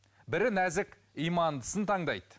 бірі нәзік имандысын таңдайды